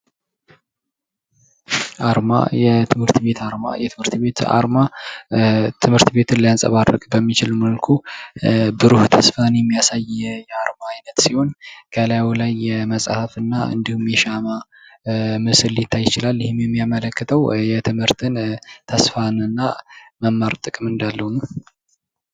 አርማ የትምህርት ቤት አርማ የትምህርት ቤት አርማ ትምህርት ቤትን ሊያንፀባርቅ በሚችል መልኩ ብሩህ ተስፋን የሚያሳይ የአርማ አይነት ሲሆን ከላዩ ላይ የብርሃንን እና እንዲሁም የሻማ ምስል ሊታይ ይችላል:: ይህም የሚያመለክተው የትምህርትን ተስፋን እና መማር ጥቅም እንዳለው ነው::